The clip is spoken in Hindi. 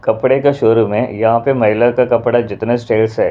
कपड़े का शो -रूम है यहाँ पे महिला का कपड़ा जितने सेल्स है--